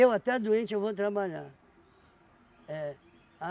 até doente, eu vou trabalhar. É.